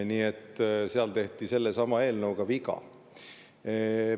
Nii et seal tehti sellesama eelnõuga viga.